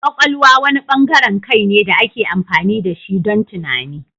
Kwakwalwa wani bangaren kai ne da ake amfani da shi don tunani.